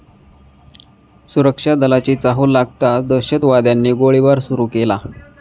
सुरक्षा दलांची चाहूल लागताच दहशतवाद्यांनी गोळीबार सुरू केला.